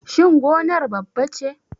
Shin gonar babba ce?